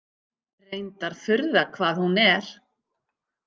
Reyndar furða hvað hún er.